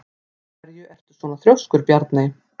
Af hverju ertu svona þrjóskur, Bjarney?